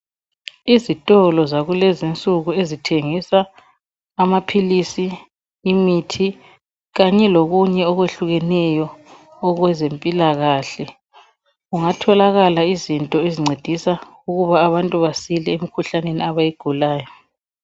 Izitolo zakulezi insuku ezithengisa amaphilisi, imithi kanye lokunye okwehlukeneyo okwezempilakahle kungatholakala izinto ezincedisa ukuba abantu basile emkhuhlaneni abayigulayo.